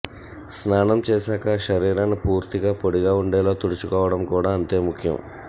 స్నానం చేశాక శరీరాన్ని పూర్తిగా పొడిగా ఉండేలా తుడుచుకోవడం కూడా అంతే ముఖ్యం